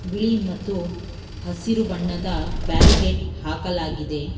ಬಿಳಿ ಮತ್ತು ಹಸಿರು ಬಣ್ಣದ ಬ್ಯಾರಿಗೇಟ್ ಹಾಕಲಾಗಿದೆ.